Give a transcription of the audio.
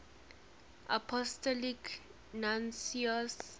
apostolic nuncios